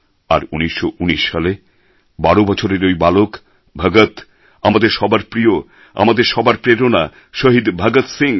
আর ১৯১৯ সালে ১২ বছরের ওই বালক ভগৎ আমাদের সবার প্রিয় আমাদের সবার প্রেরণা শহীদ ভগৎ সিং